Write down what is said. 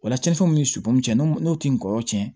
O la cɛncɛn min sukunɛ n'o tɛ ngɔlɔsɛ